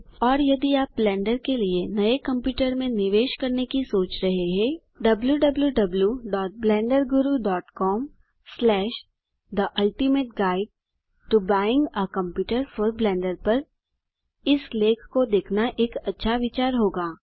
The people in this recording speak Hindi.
000459 000403 और यदि आप ब्लेंडर के लिए नये कंप्यूटर में निवेश करने की सोच रहे हैं wwwblenderguru com the ultimate guide to buying a computer for Blender पर इस लेख को देखना एक अच्छा विचार होगा